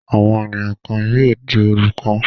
Àwọn ènìyàn kan yóò di olùkọ́.